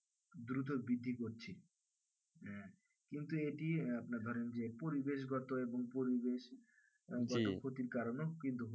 হ্যাঁ কিন্তু এটি আপনার ধরেন যে পরিবেশ গত এবং পরিবেশ বনস্পতির কারণে কিন্তু হচ্ছে